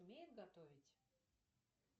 умеет готовить